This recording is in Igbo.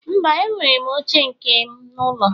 Mba, enwere m oche nke m n'ụlọ